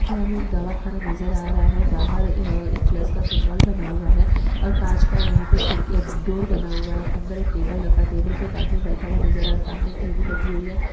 यहा पे हमे एक दवाखाना नज़र आ रहा है बाहर अ एक प्लस का सिमबॉल बना हुआ है और काच का यहा पे खिडकिया डोर बना हुआ है अंदर एक टेबल रखा टेबल पे एक आदमी बैठ हुआ नज़र आ सामने एक टीवी लगी हुई है।